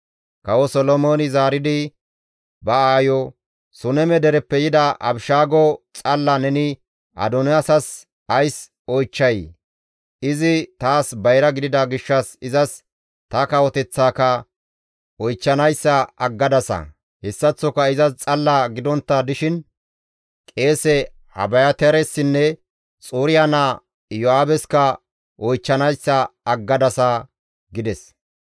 Kawo Solomooney zaaridi ba aayo, «Suneme dereppe yida Abishaago xalla neni Adoniyaasas ays oychchay? Izi taas bayra gidida gishshas izas ta kawoteththaaka oychchanayssa aggadasa! Hessaththoka izas xalla gidontta dishin qeese Abiyaataaressinne Xuriya naa Iyo7aabeska oychchanayssa aggadasa!» gides.